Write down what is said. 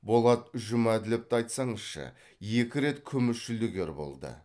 болат жұмәділовты айтсаңызшы екі рет күміс жүлдегер болды